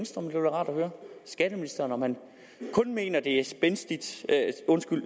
rart at høre skatteministeren om han kun mener at det er